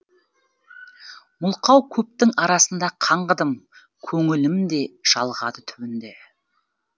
мылқау көптің арасында қаңғыдым көңілім де жалығады түбінде